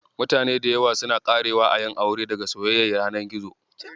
Mutane da yawa suna ƙarewa a yin aure daga soyayyar yanar gizo.